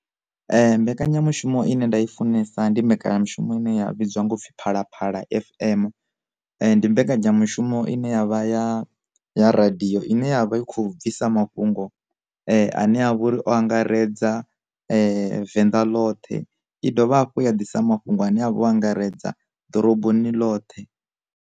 Mbekanyamushumo ine nda i funesa ndi mbekanyamushumo ine ya pfi phalaphala FM. Ndi mbekanyamushumo ine yavha ya ya radiyo ine yavha i kho bvisa mafhungo ane avho ri o angaredza venḓa ḽoṱhe. I dovha hafhu ya ḓisa mafhungo ane avha o angaredza ḓoroboni ḽoṱhe.